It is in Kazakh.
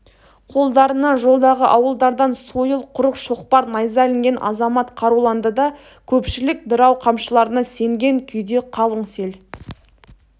қолдарына жолдағы ауылдардан сойыл құрық шоқпар найза ілінген азамат қаруланды да көпшілік дырау қамшыларына сенген күйде қалың сел